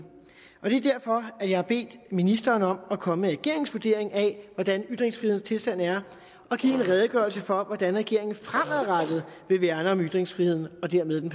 er derfor at jeg har bedt ministeren om at komme med regeringens vurdering af hvordan ytringsfrihedens tilstand er og give en redegørelse for hvordan regeringen fremadrettet vil værne om ytringsfriheden og dermed den